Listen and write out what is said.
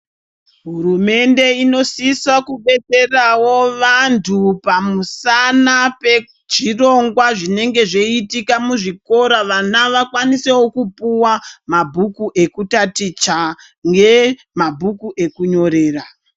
Hurumende inosisa kudetserawo vanthu pamusana pezvhirongwa zvinonge zveiitika muzvikora vana vakwanisewo kupuwa mabhuku ekutaticha ngemabhuku ekunyorera.